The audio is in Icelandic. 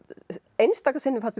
einstaka sinnum fannst